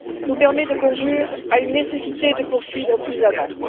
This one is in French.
nous permet de conclure à la nécessité de poursuivre plus avant.